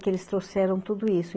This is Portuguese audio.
Que eles trouxeram tudo isso.